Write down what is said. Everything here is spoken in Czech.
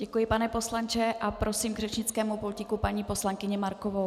Děkuji, pane poslanče, a prosím k řečnickému pultíku paní poslankyni Markovou.